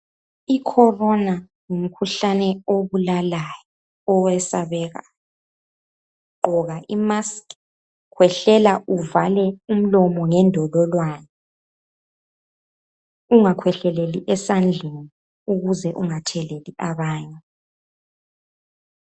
Ikhorona ngumkhuhlane obulalayo, owesabekayo. Gqoka i mask, khwehlela uvale umlomo ngendololwane. Ungakhwehleleli esandleni ukuze ungatheleli abanye.